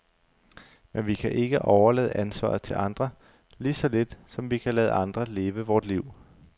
Men vi kan ikke overlade ansvaret til andre, lige så lidt som vi kan lade andre leve vort liv.